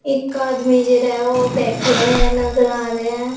एक आदमी जरा वह बैठे हुयांषष या नजर आ रहें हैं।